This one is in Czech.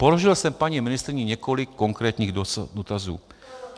Položil jsem paní ministryni několik konkrétních dotazů.